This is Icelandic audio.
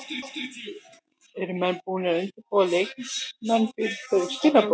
Eru menn búnir að undirbúa leikmenn fyrir þau skilaboð?